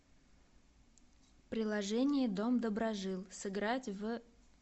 приложение дом доброжил сыграть в